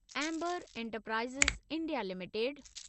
amber Enterprises India limited